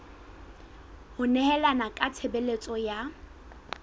ho nehelana ka tshebeletso ya